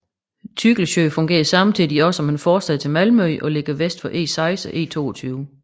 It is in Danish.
Tygelsjö fungerer samtidig også som en forstad til Malmø og ligger vest for E6 og E22